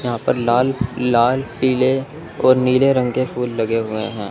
यहां पर लाल लाल पीले और नीले रंग के फूल लगे हुए हैं।